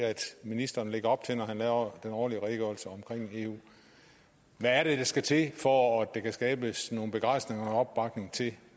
ministeren lægger op til når han laver den årlige redegørelse om eu hvad er det der skal til for at der kan skabes noget begejstring og opbakning til